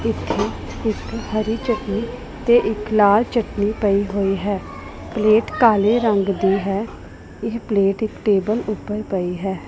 ਇੱਥੇ ਇੱਕ ਹਰੀ ਚਟਨੀ ਤੇ ਇੱਕ ਲਾਲ ਚਟਨੀ ਪਈ ਹੋਈ ਹੈ ਪਲੇਟ ਕਾਲੇ ਰੰਗ ਦੀ ਹੈ ਇਹ ਪਲੇਟ ਇੱਕ ਟੇਬਲ ਉੱਪਰ ਪਈ ਹੈ।